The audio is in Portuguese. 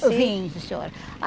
Vim, sim, senhora.